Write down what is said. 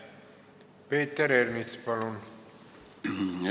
Peeter Ernits, palun!